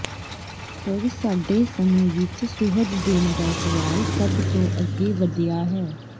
ਪਰ ਸਾਡੇ ਸਮੇਂ ਵਿਚ ਸੁਹਜ ਦੇਣ ਦਾ ਸਵਾਲ ਸਭ ਤੋਂ ਅੱਗੇ ਵਧਿਆ ਹੈ